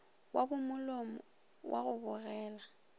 wa bomolomo wa go bogela